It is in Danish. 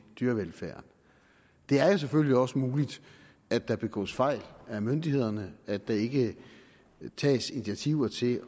dyrevelfærden det er jo selvfølgelig også muligt at der begås fejl af myndighederne at der ikke tages initiativer til